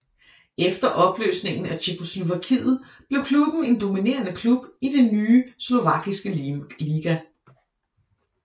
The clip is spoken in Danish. Efter opløsningen af Tjekkoslovakiet blev klubben en dominerende klub i den nye slovakiske liga